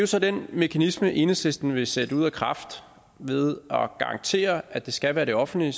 så den mekanisme enhedslisten vil sætte ud af kraft ved at garantere at det skal være det offentlige